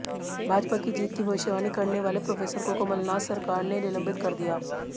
भाजपा की जीत की भविष्यवाणी करने वाले प्रोफेसर को कमलनाथ सरकार ने निलंबित कर दिया